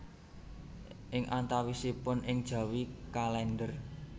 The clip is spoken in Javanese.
Ing antawasipun Ing Jawi kalender